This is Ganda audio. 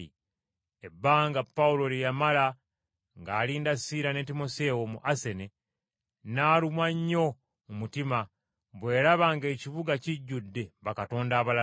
Ebbanga Pawulo lye yamala ng’alinda Siira ne Timoseewo mu Asene, n’alumwa nnyo mu mutima bwe yalaba ng’ekibuga kijjudde bakatonda abalala.